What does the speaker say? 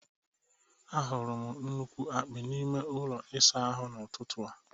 Ahụrụ m nnukwu akpị n'ime ụlọ ịsa ahụ n'ụtụtụ a.